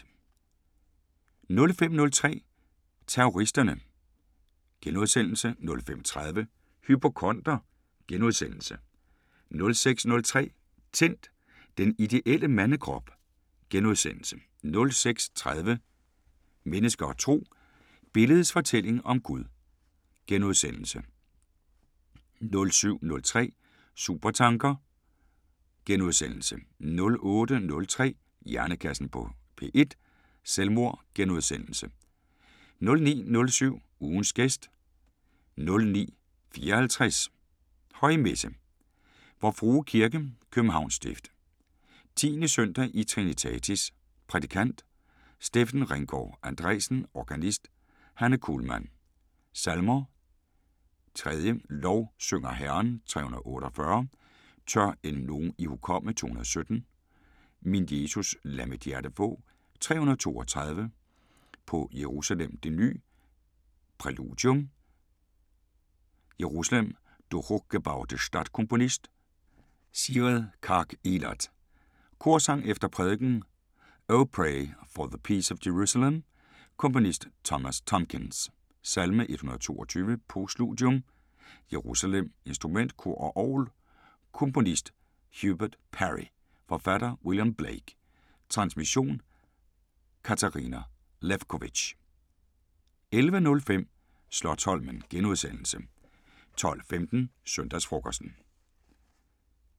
05:03: Terroristerne * 05:30: Hypokonder * 06:03: Tændt: Den ideelle mandekrop * 06:30: Mennesker og Tro: Billedets fortælling om Gud * 07:03: Supertanker * 08:03: Hjernekassen på P1: Selvmord * 09:07: Ugens gæst 09:54: Højmesse - Vor Frue Kirke, København Stift. 10. søndag i trinitatis. Prædikant: Steffen Ringgaard Andresen. Organist: Hanne Kulhmann. Salmer: 3: "Lovsynger Herren" 348: "Tør end nogen ihukomme" 217: "Min Jesus, lad mit hjerte få" 332: "På Jerusalem det ny" Præludium: Jerusalem, du hochgebaute Stadt Komponist: Sigrid Karg-Elert. Korsang efter prædikenen: O pray for the peace of Jerusalem. Komponist Thomas Tomkins. Salme 122 Postludium: Jerusalem. Instrument: Kor og orgel Komponist: Hubert Parry. Forfatter: William Blake. Transmission: Katarina Lewkovitch. 11:05: Slotsholmen * 12:15: Søndagsfrokosten